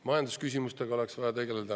Majandusküsimustega oleks vaja tegeleda.